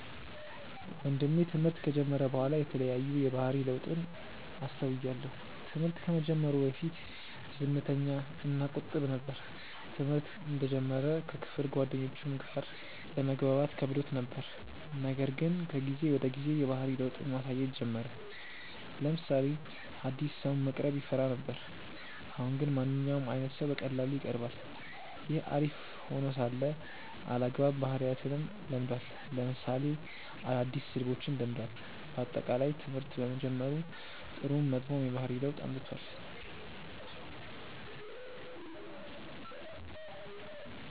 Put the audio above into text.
ወንድሜ ትምህርት ከጀመረ በኋላ የተለያዩ የባህሪ ለውጥን አስተውያለው። ትምህርት ከመጀመሩ በፊት ዝምተኛ እና ቁጥብ ነበር። ትምህርተ እንደጀመረ ከክፍል ጓደኞቹም ጋር ለመግባባት ከብዶት ነበር :ነገር ግን ከጊዜ ወደ ጊዜ የባህሪ ለውጥን ማሳየት ጀመረ : ለምሳሌ አዲስ ሰውን መቅረብ ይፈራ ነበር አሁን ግን ማንኛውም አይነት ሰው በቀላሉ ይቀርባል። ይህ አሪፍ ሄኖ ሳለ አልአግባብ ባህሪያትንም ለምዷል ለምሳሌ አዳዲስ ስድቦችን ለምዷል። በአጠቃላይ ትምህርት በመጀመሩ ጥሩም መጥፎም የባህሪ ለውጥ አምጥቷል።